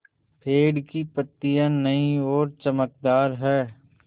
पेड़ की पतियां नई और चमकदार हैँ